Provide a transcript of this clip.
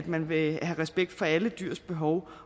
man vil have respekt for alle dyrs behov